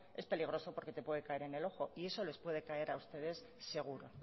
es peligroso porque te puede caer en el ojo y eso les puede caer a ustedes seguro